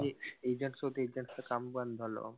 Agents होते agents च काम बंद झालं.